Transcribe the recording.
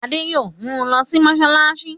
Adé yóò mu lọ sí mọ́ṣáláṣí.